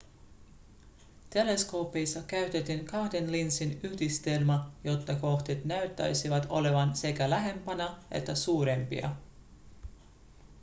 teleskoopeissa käytettiin kahden linssin yhdistelmää jotta kohteet näyttäisivät olevan sekä lähempänä että suurempia